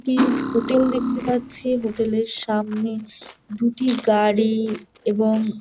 একটি হোটেল দেখতে পাচ্ছি হোটেল -এর সামনে দুটি গাড়ি এবং--